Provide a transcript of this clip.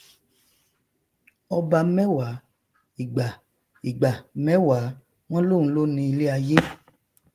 ọba mẹwàá ìgbà ìgbà mẹwàá wọn lóun ló ni iléayé